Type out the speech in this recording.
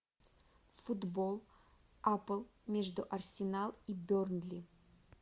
футбол апл между арсенал и бернли